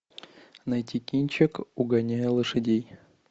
найти кинчик угоняя лошадей